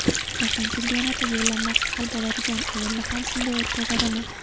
Jahon chempionati yo‘llanmasi hal bo‘ladigan o‘yinni ham shunday o‘tkazadimi?